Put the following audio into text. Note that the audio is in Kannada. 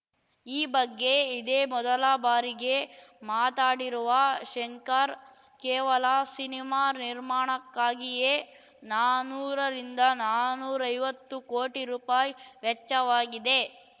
ಈ ಬಗ್ಗೆ ಇದೇ ಮೊದಲ ಬಾರಿಗೆ ಮಾತಾಡಿರುವ ಶಂಕರ್‌ ಕೇವಲ ಸಿನಿಮಾ ನಿರ್ಮಾಣಕ್ಕಾಗಿಯೇ ನಾನೂರ ರಿಂದನಾನೂರೈವತ್ತು ಕೋಟಿ ರುಪಾಯಿ ವೆಚ್ಚವಾಗಿದೆ